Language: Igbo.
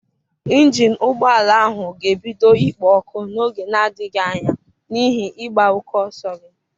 ịnjin ụgbọ ala ahụ ga-ebido ikpo ọkụ n'oge na-adịghị anya n'ihi ịgba oke ọsọ gị.